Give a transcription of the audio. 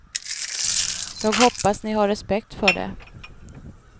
Jag hoppas ni har respekt för det.